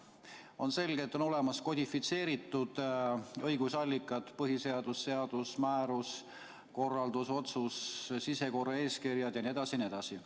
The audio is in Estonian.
On selge, et on olemas kodifitseeritud õigusallikad: põhiseadus, seadus, määrus, korraldus, otsus, sisekorraeeskirjad jne.